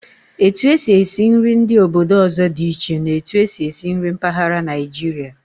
Etu e si esi nri ndị obodo ọzọ dị iche na'otu e si esi nri mpaghara Naijiria.